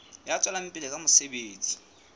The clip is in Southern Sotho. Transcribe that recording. ya tswelang pele ka mosebetsi